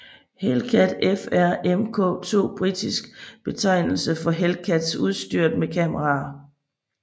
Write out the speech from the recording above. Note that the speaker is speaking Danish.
Hellcat FR Mk II Britisk betegnelse for Hellcats udstyret med kameraer